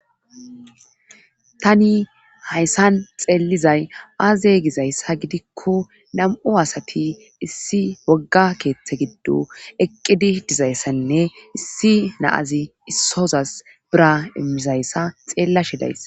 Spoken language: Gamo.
tani hayssan xeellizay aaze gizayssa gidikko nam7u asati issi wogga keeththe giddo eqqidi dizayssanne issi naazi issozas bira immizayssa xeellashedays